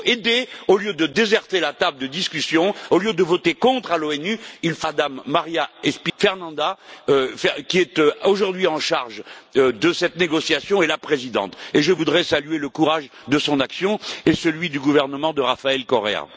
Il faut aider au lieu de déserter la table de discussion, au lieu de voter contre à l'ONU Mme María Fernanda Espinosa, qui est aujourd'hui chargée de cette négociation, et la présidente, et je voudrais saluer le courage de son action et celui du gouvernement de Rafael Correa.